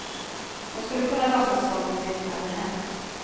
Hon skulle kunna låtsas som om det inte hade hänt.